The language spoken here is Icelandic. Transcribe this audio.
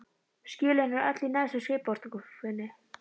Skjölin eru öll í neðstu skrifborðsskúffunni.